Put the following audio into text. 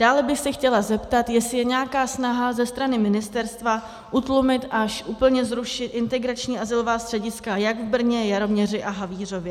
Dále bych se chtěla zeptat, jestli je nějaká snaha ze strany ministerstva utlumit, až úplně zrušit integrační azylová střediska jak v Brně, Jaroměři a Havířově?